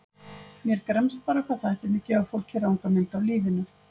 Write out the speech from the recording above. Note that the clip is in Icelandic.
Mér gremst bara hvað þættirnir gefa fólki ranga mynd af lífinu.